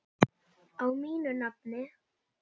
Á mínu nafni?